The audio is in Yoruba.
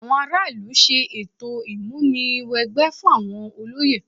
Àwọn ará ìlú ṣe ètò ìmúni wẹgbẹ́ fún àwọn olóyè